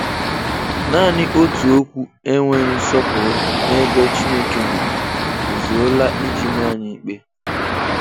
Nani òtù okwụ́ enweghị nsọpụrụ n'ebe Chineke nọ, ezuola iji máá anyị ịkpé.